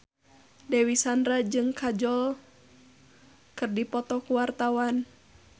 Dewi Sandra jeung Kajol keur dipoto ku wartawan